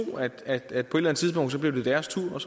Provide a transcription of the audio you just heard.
at det på et eller andet tidspunkt blev deres tur